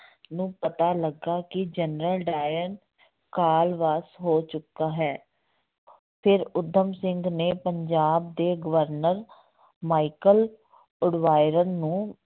ਨੂੰ ਪਤਾ ਲੱਗਾ ਕਿ ਜਨਰਲ ਡਾਇਰ ਕਾਲ ਵਾਸ ਹੋ ਚੁੱਕਾ ਹੈ ਫਿਰ ਊਧਮ ਸਿੰਘ ਨੇ ਪੰਜਾਬ ਦੇ ਗਵਰਨਰ ਮਾਈਕਲ ਉਡਵਾਇਰ ਨੂੰ